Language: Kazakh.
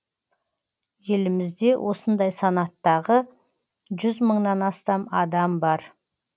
елімізде осындай санаттағы жүз мыңнан астам адам бар